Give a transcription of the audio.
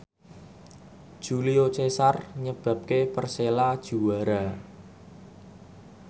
Julio Cesar nyebabke Persela juara